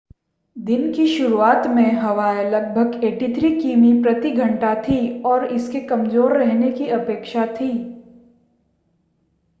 दिन की शुरुआत में हवाएँ लगभग 83 किमी/घंटा थीं और इसके कमज़ोर रहने की अपेक्षा थी।